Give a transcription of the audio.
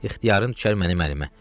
ixtiyarın düşər mənim əlimə.